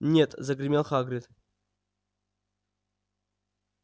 нет загремел хагрид